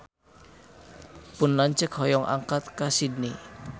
Pun lanceuk hoyong angkat ka Sydney